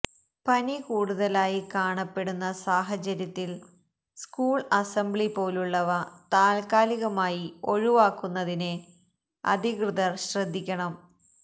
പനി കൂടുതലായി കാണപ്പെടുന്ന സാഹചര്യത്തില് സ്കൂള് അസംബ്ലി പോലുള്ളവ താല്ക്കാലികമായി ഒഴിവാക്കുന്നതിന് അധികൃതര് ശ്രദ്ധിക്കണം